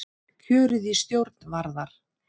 Kjörið í stjórn Varðar